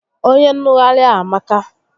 Oche ṅṅụgharị a amaka